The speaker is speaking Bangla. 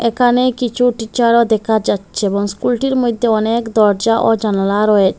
এখানে কিছু টিচারও দেখা যাচ্ছে এবং স্কুলটির মধ্যে অনেক দরজা ও জানালা রয়েছ--